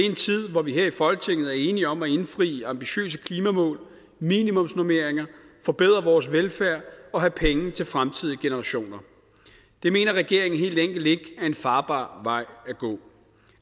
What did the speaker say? en tid hvor vi her i folketinget er enige om at indfri ambitiøse klimamål minimumsnormeringer forbedre vores velfærd og have penge til fremtidige generationer det mener regeringen helt enkelt ikke er en farbar vej at gå